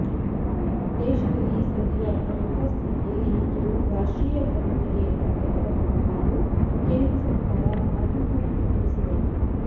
ದೇಶದಲ್ಲಿ ಸದ್ಯದ ಭದ್ರತಾ ಸ್ಥಿತಿಯಲ್ಲಿ ಇದು ರಾಷ್ಟ್ರೀಯ ಭದ್ರತೆಗೆ ಧಕ್ಕೆ ತರಬಹುದು ಎಂದು ಕೇಂದ್ರ ಸರಕಾರ ಆತಂಕ ವ್ಯಕ್ತಪಡಿಸಿದೆ